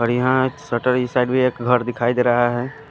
और यहा साइड भी एक घर दिखाई देरा है।